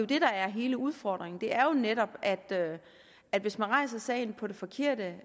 det der er hele udfordringen det er jo netop at hvis man rejser sagen på det forkerte